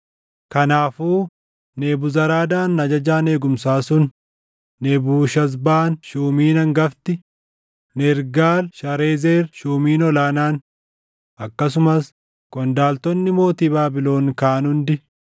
Kanaafuu Nebuzaradaan ajajaan eegumsaa sun Nebuushazbaan shuumiin hangafti, Nergaal-Sharezer shuumiin ol aanaan, akkasumas qondaaltonni mootii Baabilon kaan hundi